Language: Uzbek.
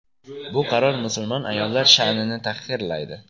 Bu qaror musulmon ayollar sha’nini tahqirlaydi.